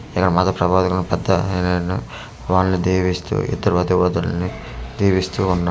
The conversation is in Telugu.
పెద్ద వాళ్లు దీవిస్తూ ఇతర దేవతలని దీవిస్తూ ఉన్నా--